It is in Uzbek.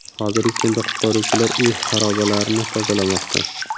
Hozirgi kunda qutqaruvchilar uy xarobalarini tozalamoqda.